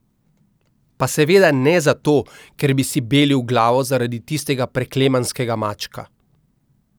Pa seveda ne zato, ker bi si belil glavo zaradi tistega preklemanskega mačka.